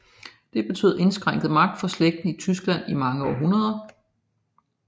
Det betød indskrænket magt for slægten i Tyskland i mange århundreder